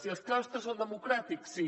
i els claustres són democràtics sí